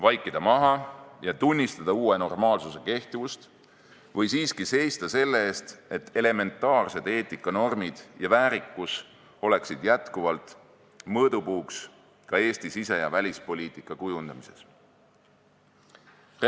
Vaikida maha ja tunnistada uue normaalsuse kehtivust või siiski seista selle eest, et elementaarsed eetikanormid ja väärikus oleksid jätkuvalt mõõdupuuks ka Eesti sise- ja välispoliitika kujundamises?